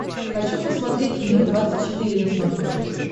хочу посмотреть мир двадцать четыре на смотрешке